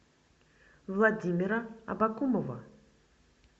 владимира абакумова